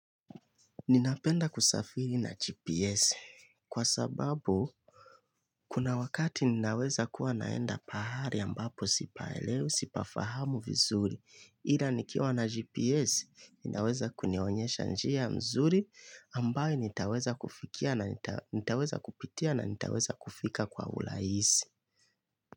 Ninapenda kusafiri na GPS kwa sababu kuna wakati ninaweza kuwa naenda pahali ambapo sipaelewi sipafahamu vizuri ila nikiwa na GPS inaweza kunionyesha njia mzuri ambayo nitaweza kupitia na nitaweza kufika kwa urahisi.